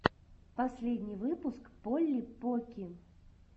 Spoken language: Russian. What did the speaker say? последний выпуск полли покки